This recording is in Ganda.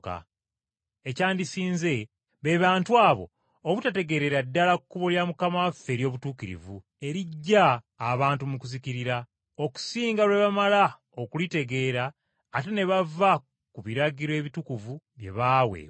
Ekyandisinze be bantu abo obutategeerera ddala kkubo lya Mukama waffe ery’obutuukirivu, eriggya abantu mu kuzikirira, okusinga lwe bamala okulitegeera, ate ne bava ku biragiro ebitukuvu bye baaweebwa.